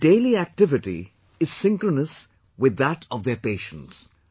Their daily activity is synchronous with that of their patients